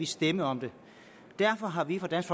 stemme om det derfor har vi fra dansk